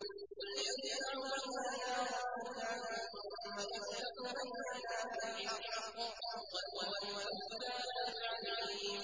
قُلْ يَجْمَعُ بَيْنَنَا رَبُّنَا ثُمَّ يَفْتَحُ بَيْنَنَا بِالْحَقِّ وَهُوَ الْفَتَّاحُ الْعَلِيمُ